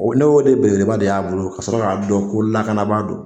O ne y'o de belebele ba de y'a bolo ka sɔrɔ ka dɔn ko lakanabaa don.